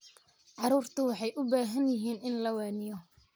Carruurtu waxay u baahan yihiin in la waaniyo.